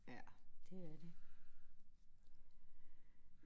Ja det er det